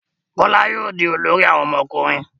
Kola yóò dì olórí àwọn ọmọkùnrin.